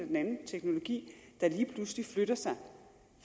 den anden teknologi der lige pludselig flytter sig